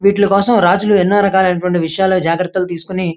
వీటి కోసం రాజులు ఎన్నో రకాలు అయినటువంటి విషయాలో జాగ్రత్తలు తీసుకొని --